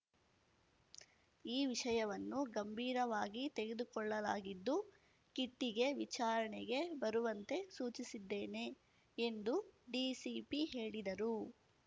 ಈ ವಿಷಯವನ್ನು ಗಂಭೀರವಾಗಿ ತೆಗೆದುಕೊಳ್ಳಲಾಗಿದ್ದು ಕಿಟ್ಟಿಗೆ ವಿಚಾರಣೆಗೆ ಬರುವಂತೆ ಸೂಚಿಸಿದ್ದೇನೆ ಎಂದು ಡಿಸಿಪಿ ಹೇಳಿದರು